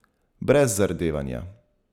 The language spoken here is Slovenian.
Brez zardevanja.